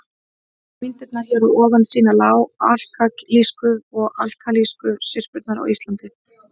Myndirnar hér að ofan sýna lág-alkalísku og alkalísku syrpurnar á Íslandi.